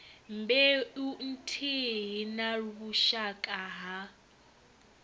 mbeu nthihi na vhushaka ha